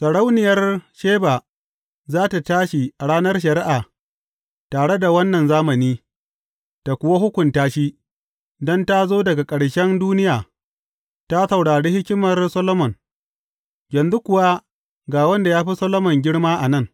Sarauniyar Sheba za tă tashi a ranar shari’a tare da wannan zamani, tă kuwa hukunta shi; don ta zo daga ƙarshen duniya, ta saurari hikimar Solomon, yanzu kuwa ga wanda ya fi Solomon girma a nan.